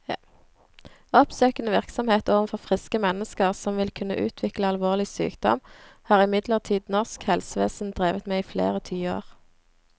Oppsøkende virksomhet overfor friske mennesker som vil kunne utvikle alvorlig sykdom, har imidlertid norsk helsevesen drevet med i flere tiår.